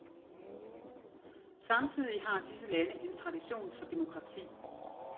Samtidig har disse lande en tradition for demokrati.